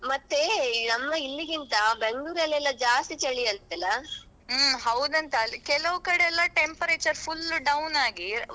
ಮತ್ತೆ ನಮ್ಮಇಲ್ಲಿಗಿಂತ Bangalore ಅಲ್ಲಿ ಎಲ್ಲ ಜಾಸ್ತಿ ಚಳಿಯಂತೆಲ್ಲ.